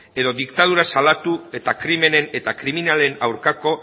edo diktadura salatu eta krimenen eta kriminalen aurkako